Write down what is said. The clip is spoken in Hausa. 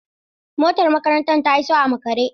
Motar makarantar ta iso a makare.